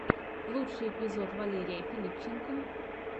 лучший эпизод валерия филипченко